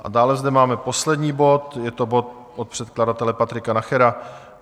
A dále zde máme poslední bod, je to bod od předkladatele Patrika Nachera.